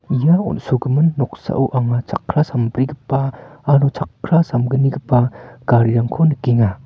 ia on·sogimin noksao anga chakkra sambrigipa aro chakkra samgnigipa garirangko nikenga.